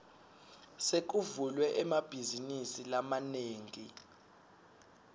sekuvulwe emabhazinisi lamanengi